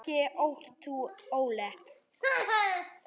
Þetta gekk ekki lengur.